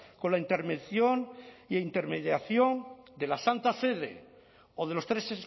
con la intervención e intermediación de la santa sede o de los tres